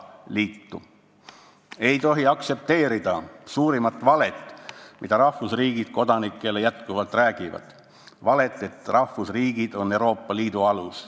Ei tohi aktsepteerida suurimat valet, mida rahvusriigid kodanikele jätkuvalt räägivad – valet, et rahvusriigid on Euroopa Liidu alus.